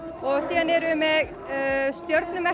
síðan erum við með